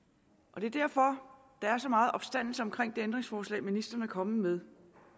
og det er derfor der er så meget opstandelse omkring det ændringsforslag ministeren er kommet med